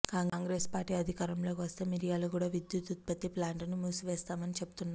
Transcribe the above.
Congress party అధికారంలోకి వస్తే మిర్యాలగూడ విద్యుత్ ఉత్పత్తి ప్లాంట్ను మూసివేస్తామని చెబుతున్నారు